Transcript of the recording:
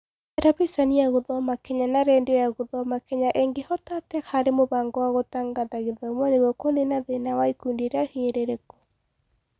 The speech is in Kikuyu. Terebiceni ya gũthoma Kenya na Rendio ya gũthoma Kenya ĩngĩhota atĩa harĩ mũbango wa gũtangatha gĩthomo nĩguo kũnina thĩna wa ikundi iria hinyĩrĩrĩku?